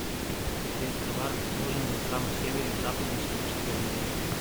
какие острова расположены на самом севере западно сибирской равнины